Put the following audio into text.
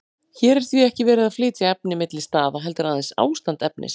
Hér er því ekki verið að flytja efni milli staða, heldur aðeins ástand efnis.